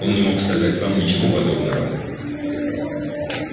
он не мог сказать вам ничего подобного